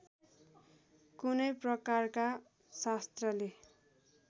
कुनै प्रकारका शस्त्रले